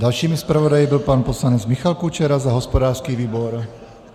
Dalším zpravodajem byl pan poslanec Michal Kučera za hospodářský výbor.